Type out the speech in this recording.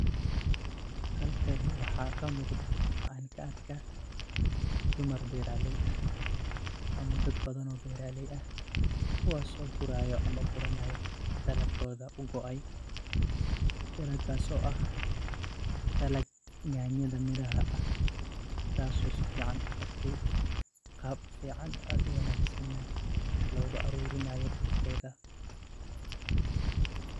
Halkani waxa Kama muqdah amah ka arkah, duumar beeraley ah, amah dad bathan oo beera leey aah kuwasoo guurayo amah kuranayo dalatkotha u go ay daleetkaso aah daalat nyantha meeraha aah taaso sufican u kartay qaab fican aad u wanagsan nah loga arurinayo Geetha .